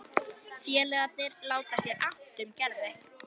Félagarnir láta sér annt um Gerði.